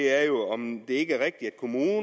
er jo om det ikke er rigtigt